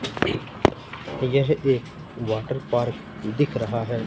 यह एक water park दिख रहा है।